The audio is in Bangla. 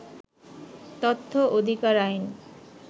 তথ্য অধিকার আইন